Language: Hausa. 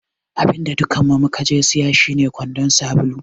Abinda dukkanmu mukaje siya shine kwandon sabulu.